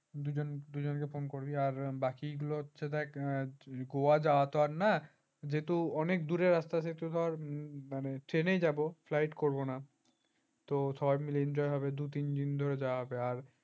দুজন দুজনকে phone করবি আর বাকিগুলো হচ্ছে দেখ দেখ যাওয়া তো আর নয় যেহেতু অনেক দূরের রাস্তা সেই হতে ধর ট্রেনেই যাব flight করব না তো সবাই মিলে এনজয় হবে দুই তিন দিন ধরে যাওয়া হবে